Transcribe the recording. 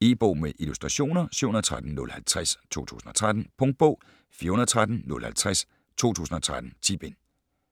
E-bog med illustrationer 713050 2013. Punktbog 413050 2013. 10 bind.